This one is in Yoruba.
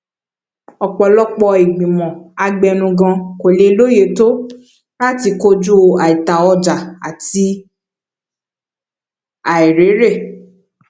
ọpọlọpọ ìgbìmọ abẹnugan kò lóye tó láti kojú àìtaọjà àti àìrèrè